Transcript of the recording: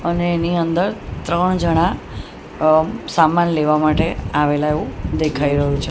અને એની અંદર ત્રણ જણા અ સામાન લેવા માટે આવેલા હોય એવું દેખાઈ રહ્યું છે.